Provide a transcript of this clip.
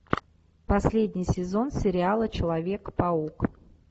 последний сезон сериала человек паук